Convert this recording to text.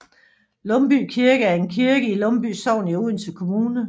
Lumby Kirke er en kirke i Lumby Sogn i Odense Kommune